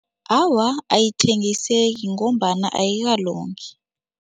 Awa, ayithengiseki ngombana ayikalungi.